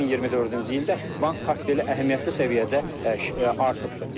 2024-cü ildə bank portfeli əhəmiyyətli səviyyədə artıbdır.